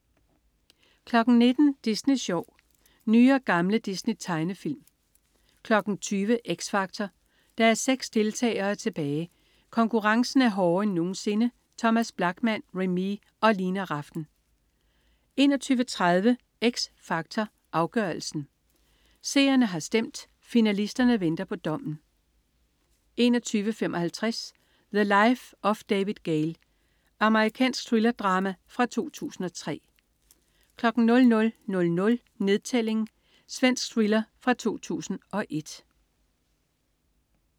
19.00 Disney Sjov. Nye og gamle Disney-tegnefilm 20.00 X Factor. Der er seks deltagere tilbage, og konkurrencen er hårdere end nogensinde. Thomas Blachman, Remee og Lina Rafn 21.30 X Factor Afgørelsen. Seerne har stemt, og finalisterne venter på dommen 21.55 The Life of David Gale. Amerikansk thrillerdrama fra 2003 00.00 Nedtælling. Svensk thriller fra 2001